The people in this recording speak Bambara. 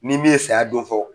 Ni min ye saya don fɔ